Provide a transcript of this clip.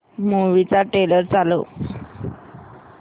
movie चा trailer चालव